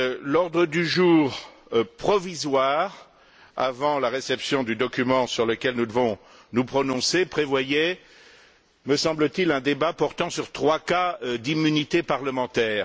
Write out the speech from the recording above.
L'ordre du jour provisoire, avant la réception du document sur lequel nous devons nous prononcer, prévoyait, me semble t il, un débat portant sur trois cas d'immunité parlementaire.